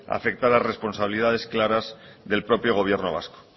afectar a responsabilidades claras del propio gobierno vasco